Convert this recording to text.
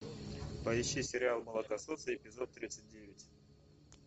поищи сериал молокососы эпизод тридцать девять